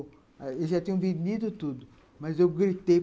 Eles já tinham vendido tudo, mas eu gritei.